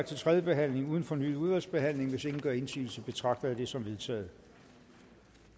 til tredje behandling uden fornyet udvalgsbehandling hvis ingen gør indsigelse betragter jeg det som vedtaget